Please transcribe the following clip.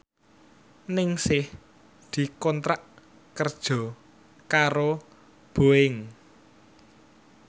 Ningsih dikontrak kerja karo Boeing